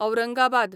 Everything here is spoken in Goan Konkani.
औरांगाबाद